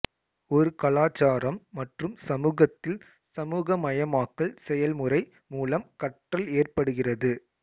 ஒரு கலாச்சாரம் மற்றும் சமூகத்தில் சமூகமயமாக்கல் செயல்முறை மூலம் கற்றல் ஏற்படுகிறது